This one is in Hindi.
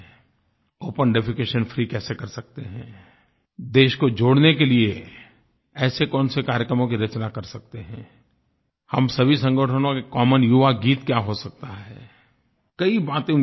ओपन डेफेकेशन फ्री कैसे कर सकते हैं देश को जोड़ने के लिए ऐसे कौन से कार्यकर्मों की रचना कर सकते हैं हम सभी संगठनों के कॉमन युवागीत क्या हो सकता है कई बातें उनके साथ हुई हैं